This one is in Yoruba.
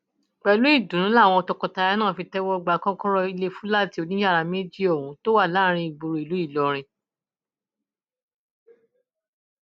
pẹlú ìdùnnú làwọn tọkọtaya náà fi tẹwọ gba kọkọrọ ilé fúláàtì oníyàrá méjì ohun tó wà láàrin ìgboro ìlú ìlọrin